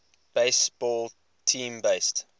baseball team based